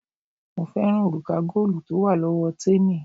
Mo fẹ́ràn òrùka góòlù tó wà lọ́wọ́ témì,